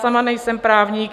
Sama nejsem právník.